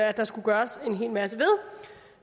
at der skulle gøres en hel masse